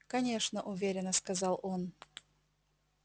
конечно уверенно сказал он